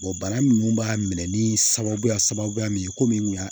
bana minnu b'a minɛ ni sababuya sababuya min ye komi